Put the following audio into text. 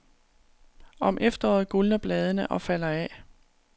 Om efteråret gulner bladene og falder af.